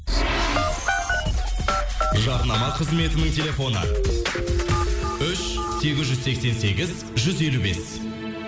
жарнама қызметінің телефоны үш сегіз жүз сексен сегіз жүз елу бес